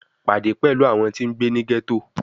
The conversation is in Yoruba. Pade pẹlu awọn ti ngbe ni ghetto